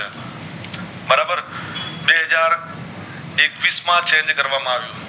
બે હાજર એકવીશ માં Change કર વામાં આવ્યુ